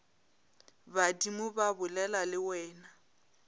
badimo ba bolela le wena